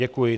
Děkuji.